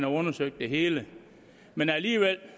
undersøgt det hele men alligevel